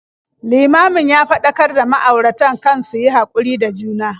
Limamin ya faɗakar da ma'auratan kan su yi haƙuri da juna.